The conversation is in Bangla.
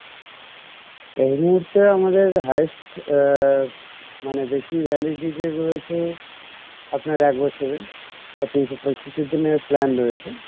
এই মুহুর্তে আমাদের highest আহ মানে বেশি validity রয়েছে আপনার এক বছরের তো তিনশো পঁয়ষট্টি দিনের plan রয়েছে